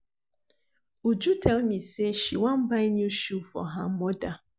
Uju tell me say she wan buy new shoe for her mother